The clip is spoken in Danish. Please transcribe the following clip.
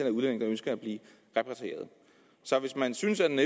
af udlændinge der ønsker at blive repatrieret så hvis man synes at den